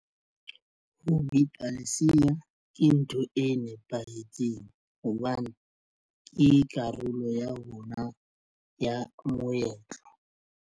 Ho bipa lesea ke ntho e nepahetseng hobane ke karolo ya rona ya moetlo.